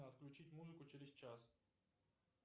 отключить музыку через час